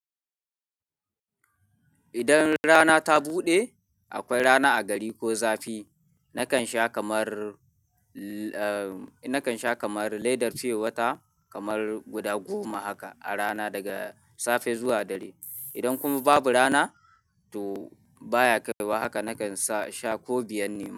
Idan rana ta buɗe, akwai rana a gari ko zafi, nakan sha kamar, eh nakan sha kamar ledar fiye wata kamar guda goma haka a rana daga safe zuwa dare. Idan kuma babu rana, to baya kaiwa haka, nakan sa sha ko biyan nema.